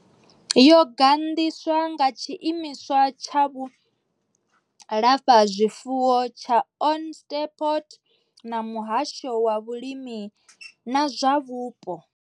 Yo gandiswa nga tshiimiswa tsha vhulafhazwifuwo tsha Onderstepoort na muhasho wa vhulimi na zwa vhupo.